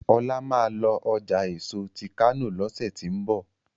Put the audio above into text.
Ola má lọ ọjà èso tí kano lọsẹ ti n bọ: